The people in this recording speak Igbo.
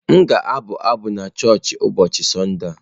M ga-abụ abụ n'choochi ụbọọchị Sọnde a.